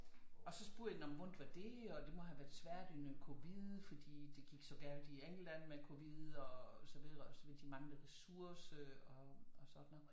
Og så spurgte jeg nå men hvordan var det og det måtte have været svært under covid fordi det gik så galt i England med coid og så videre og så videre de manglede ressourcer og sådan noget